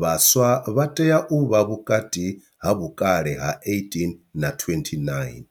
vhaswa vha tea u vha vhukati ha vhukale ha 18 na 29.